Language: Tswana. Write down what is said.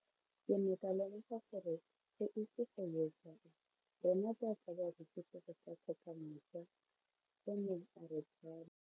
Ke ne ka lemoga gore go ise go ye kae rona jaaka barekise re tla tlhoka mojo, o ne a re jalo.